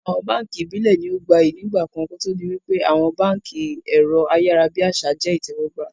Àwọn báànkì Ìbílẹ̀ ní ó gbayyi ń ìgbàkan kòtò di wípé àwọn báànkì ẹ̀rọ ayárábiàsà jẹ́ ìtẹ́wọ́gbà